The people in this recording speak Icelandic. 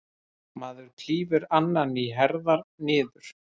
Maður klýfur annan í herðar niður.